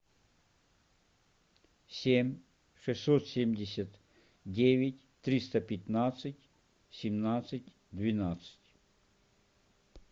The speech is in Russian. семь шестьсот семьдесят девять триста пятнадцать семнадцать двенадцать